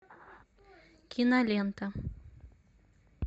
кинолента